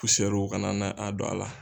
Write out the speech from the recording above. kana na a don a la.